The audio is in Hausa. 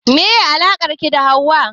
Meye alakar ki da Hauwa?